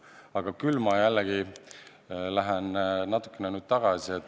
Aga lähen nüüd jälle natukene tagasi.